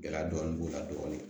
Gɛlɛya dɔɔni b'o la dɔɔnin